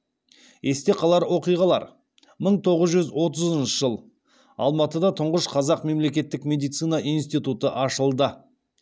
есте қалар оқиғалар мың тоғыз жүз отызыншы жыл алматыда тұңғыш қазақ мемлекеттік медицина институты ашылды